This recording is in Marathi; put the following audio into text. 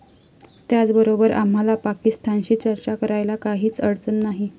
त्याचबरोबर आम्हाला पाकिस्तानशी चर्चा करायला काहीच अडचण नाही.